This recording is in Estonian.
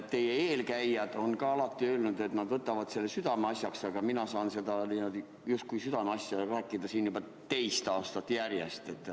Teie eelkäijad on ka alati öelnud, et nad võtavad selle südameasjaks, aga mina saan seda, justkui südameasja, rääkida siin juba teist aastat järjest.